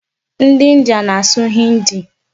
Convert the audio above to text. Ndị India na-asụ 'Hindi'.